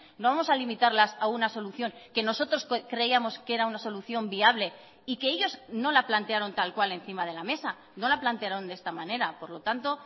no vamos a limitarlas a una solución que nosotros creíamos que era una solución viable y que ellos no la plantearon tal cual encima de la mesa no la plantearon de esta manera por lo tanto